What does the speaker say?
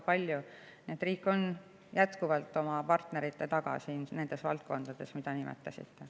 Nii et riik on jätkuvalt oma partnerite taga nendes valdkondades, mida te nimetasite.